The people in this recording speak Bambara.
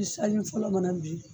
I sanjii fɔlɔ mana bin